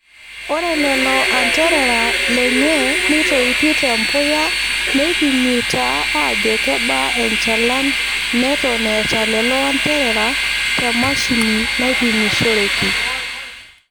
Ore lelo anterera lenye neitoipi te mbuya neipimi taa aajo kebaa enchalan neton eeta lelo anterera te mashini naipimishoreki.